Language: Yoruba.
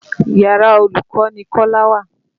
Yàra olùkọ́ ni Kọ́lá wà.